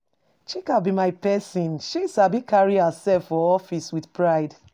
Chika be my person, she sabi carry herself for office with pride.